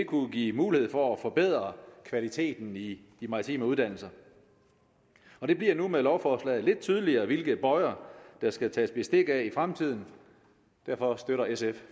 kunne give mulighed for at forbedre kvaliteten i de maritime uddannelser og det bliver nu med lovforslaget lidt tydeligere hvilke bøjer der skal tages bestik af i fremtiden derfor støtter sf